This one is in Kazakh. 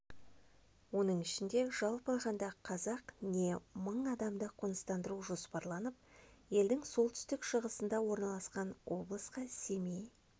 оның ішінде жалпы алғанда қазақ не мың адамды қоныстандыру жоспарланып олар елдің солтүстік-шығысында орналасқан облысқа семей